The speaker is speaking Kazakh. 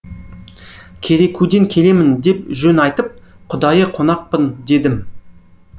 керекуден келемін деп жөн айтып құдайы қонақпын дедім